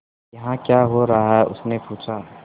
यहाँ क्या हो रहा है उसने पूछा